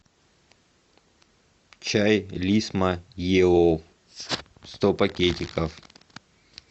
чай лисма еллоу сто пакетиков